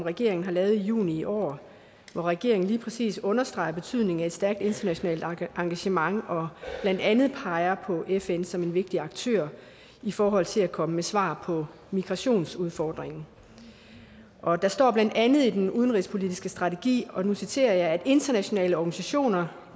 regeringen har lavet juni i år hvor regeringen lige præcis understreger betydningen af et stærkt internationalt engagement og blandt andet peger på fn som en vigtig aktør i forhold til at komme med svar på migrationsudfordringen og der står blandt andet i den udenrigspolitiske strategi og nu citerer jeg at internationale organisationer